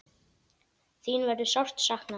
Þín verður sárt saknað.